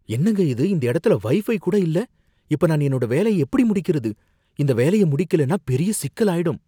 என்னங்க இது இந்த இடத்துல வைஃபை கூட இல்ல, இப்ப நான் என்னோட வேலைய எப்படி முடிக்கறது, இந்த வேலைய முடிகலைனா பெரிய சிக்கலாயிடும்.